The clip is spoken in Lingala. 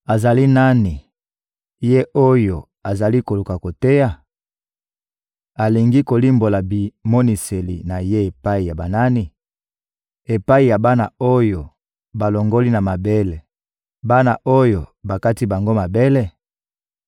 Azali nani, ye oyo azali koluka koteya? Alingi kolimbola bimoniseli na ye epai ya banani? Epai ya bana oyo balongoli na mabele, bana oyo bakati bango mabele?